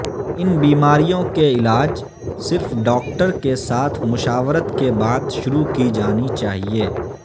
ان بیماریوں کے علاج صرف ڈاکٹر کے ساتھ مشاورت کے بعد شروع کی جانی چاہئے